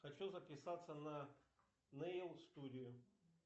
хочу записаться на нейл студию